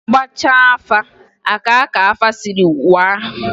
A gbachaa afa a kaa ka afa sịrị waa.